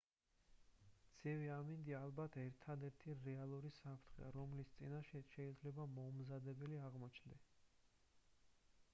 ცივი ამინდი ალბათ ერთადერთი რეალური საფრთხეა რომლის წინაშეც შეიძლება მოუმზადებელი აღმოჩნდეთ